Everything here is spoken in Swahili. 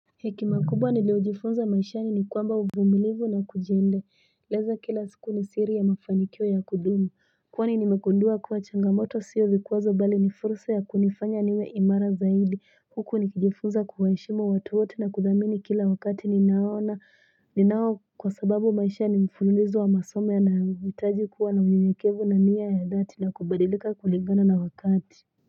Hekima kubwa nilio jifunza maishani ni kwamba uvumilivu na kujiende. Leza kila siku ni siri ya mafanikio ya kudumu. Kwa ni ni mekundua kuwa changamoto siyo vikwazo bali ni fursa ya kunifanya niwe imara zaidi. Huku ni kijifunza kuwaheshimu watu wote na kuthamini kila wakati ni naona ni nao kwa sababu maisha ni mfululizo wa masomo yanahitaji kuwa na unyenyekevu na nia ya dhati na kubadilika kulingana na wakati.